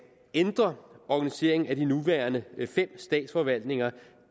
ændre organiseringen af de nuværende fem statsforvaltninger